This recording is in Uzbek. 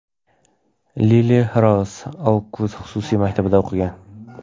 Lili-Rouz Oukvud xususiy maktabida o‘qigan.